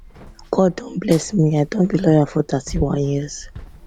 god don bless me i don be lawyer for 31 years